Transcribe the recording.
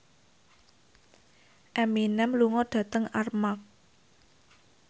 Eminem lunga dhateng Armargh